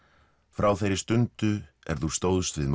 frá þeirri stundu er þú stóðst við